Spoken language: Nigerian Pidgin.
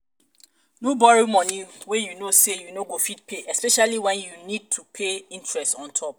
no borrow money wey you know sey you no go fit pay especiallly when you need to pay interest ontop